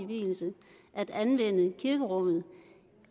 vielse at anvende kirkerummet